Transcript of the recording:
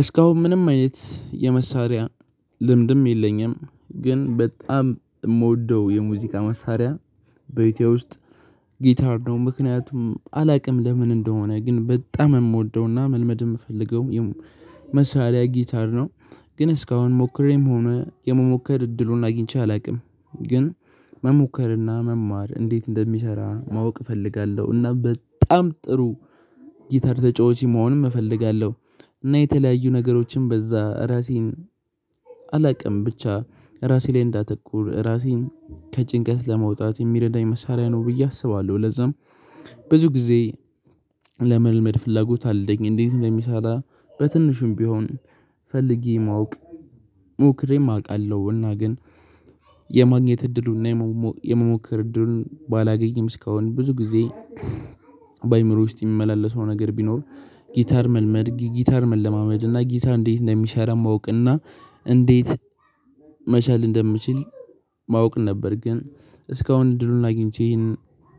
እስካሁን ምንም አይነት የመሳሪያ ልምድም የለኝም። ግን በጣም የምወደው የሙዚቃ መሳሪያ በኢትዮ ውስጥ ጊታር ነው። ምክንያቱም አላውቅም ለምን እንደሆነ ግን በጣም የምወደውና መልመድ የምፈልገው መሳሪያ ጊታር ነው። ግን እስካሁን ሞክሬም ሆነ የመሞከር እድሉን አግኝቼ አላውቅም። ግን መሞከርና መማር እንዴት እንደሚሰራ ማወቅ እፈልጋለሁ እና በጣም ጥሩ ጊታር ተጫዋችም መሆንም እፈልጋለሁ እና የተለያዩ ነገሮችን በዛ ራሴን አላውቅም ብቻ ራሴ ላይ እንዳተኩር ራሴን ከጭንቀት ለመውጣት የሚረዳኝ መሳሪያ ነው ብዬ አስባለሁ ለዛም ብዙ ጊዜ ለመልመድ ፍላጎት አለኝ እንዴት እንደሚሰራ በትንሹም ቢሆን ፈልጌ ማወቅ ሞክሬም አውቃለሁ እና ግን የማግኘት እድሉን እና የመሞከር እድሉን ባላገኘም እስካሁን ብዙ ጊዜ በአእምሮየ ውስጥ የሚመላለሰው ነገር ቢኖር ጊታር መልመድ ጊታር መለማመድ እና ጊታር እንዴት እንደሚሰራ ማወቅ እና እንዴት መቻል እንደምችል ማወቅ ነበር ግን እስካሁን እድሉን አግኝቼ ይህንን